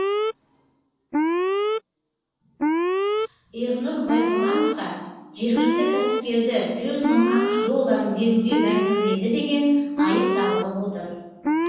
ернұр байғұрмановқа жергілікті кәсіпкерді жүз мың ақш долларын беруге мәжбүрледі деген айып тағылып отыр